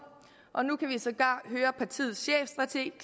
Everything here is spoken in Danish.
og nu kan vi sågar høre partiets chefstrateg